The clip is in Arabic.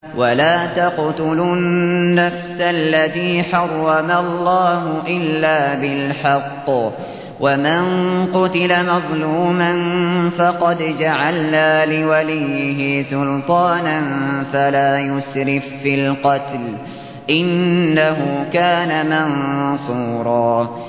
وَلَا تَقْتُلُوا النَّفْسَ الَّتِي حَرَّمَ اللَّهُ إِلَّا بِالْحَقِّ ۗ وَمَن قُتِلَ مَظْلُومًا فَقَدْ جَعَلْنَا لِوَلِيِّهِ سُلْطَانًا فَلَا يُسْرِف فِّي الْقَتْلِ ۖ إِنَّهُ كَانَ مَنصُورًا